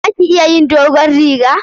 Za ka iya yin dogon rigar?